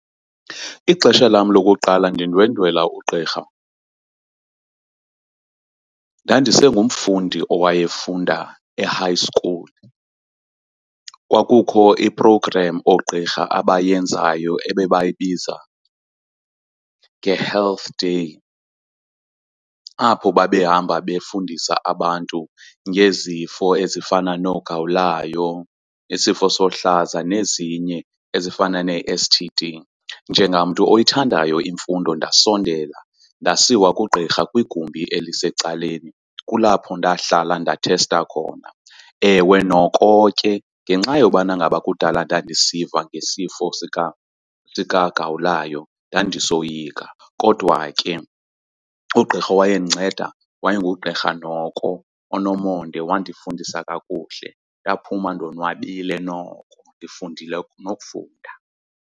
Ixesha lam lokuqala ndindwendwela ugqirha ndandisengumfundi owayefunda e-high school. Kwakukho i-programme oogqirha abayenzayo ebebayibiza nge-health day, apho babehamba befundisa abantu ngezifo ezifana nogawulayo, isifo somhlaza nezinye ezifana neS_T_D. Njengamntu oyithandayo imfundo ndasondela ndasiwa kugqirha kwigumbi elisecaleni kulapho ndahlala ndathesta khona. Ewe noko ke ngenxa yobana ngaba kudala ndandisiva ngesifo sikagawulayo ndandisoyika, kodwa ke ugqirha owayencedinceda wayengugqirha noko onomonde wandifundisa kakuhle. Ndaphuma ndonwabile noko ndifundile nofunda.